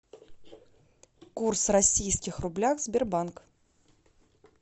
курс российских рублях сбербанк